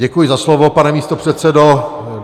Děkuji za slovo, pane místopředsedo.